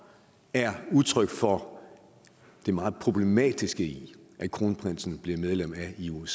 er udtryk for det meget problematiske i at kronprinsen blev medlem af ioc